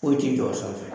Foyi ti jɔ o sanfɛ